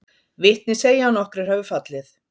Vitni segja að nokkrir hafi fallið